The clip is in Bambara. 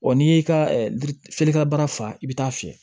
n'i y'i ka feerekɛ baara faa i bɛ taa fiyɛ